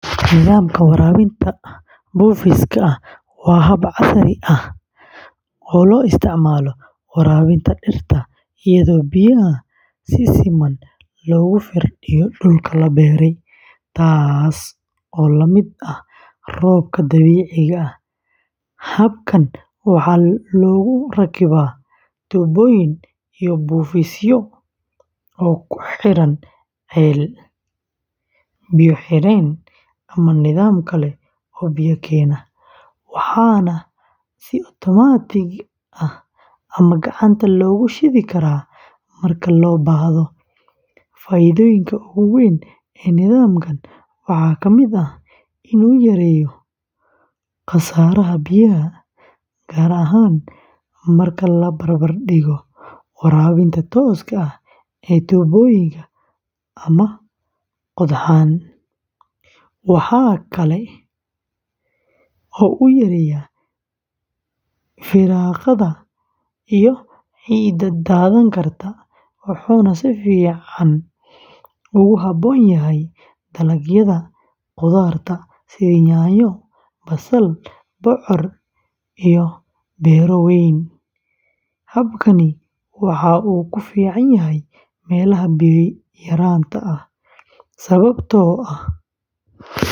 Nidaamka waraabinta buufiska waa hab casri ah oo loo isticmaalo waraabinta dhirta iyadoo biyaha si siman loogu firdhiyo dhulka la beertay, taasoo la mid ah roobka dabiiciga ah. Habkan waxaa lagu rakibaa tuubooyin iyo buufisyo oo ku xiran ceel, biyo-xireen ama nidaam kale oo biyo keena, waxaana si otomaatig ah ama gacanta loogu shidi karaa marka loo baahdo. Faa’iidooyinka ugu weyn ee nidaamkan waxaa ka mid ah in uu yareeyo khasaaraha biyaha, gaar ahaan marka la barbardhigo waraabinta tooska ah ee tuubooyinka ama qodxan. Waxaa kale oo uu yareeyaa firaaqada iyo ciidda daadan karta, wuxuuna si fiican ugu habboon yahay dalagyada khudaarta sida yaanyo, basal, bocor, iyo beero waaweyn. Habkani waxa uu ku fiican yahay meelaha biyo yaraanta ah.